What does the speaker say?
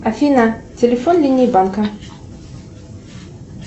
афина телефон линии банка